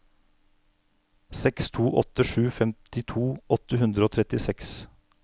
seks to åtte sju femtito åtte hundre og trettiseks